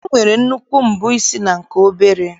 E nwere nnukwu mbọ isi na nke obere.